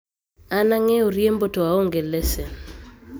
an ang'eyo riembo to aonge lesen